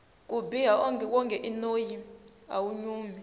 ku biha wonge i noyi awu nyumi